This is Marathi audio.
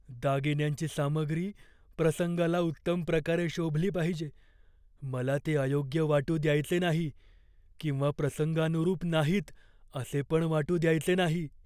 दागिन्यांची सामग्री प्रसंगाला उत्तम प्रकारे शोभली पाहिजे. मला ते अयोग्य वाटू द्यायचे नाही किंवा प्रसंगानुरूप नाहीत असे पण वाटू द्यायचे नाही.